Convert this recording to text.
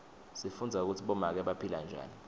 sifundza kutsi bomake baphila njani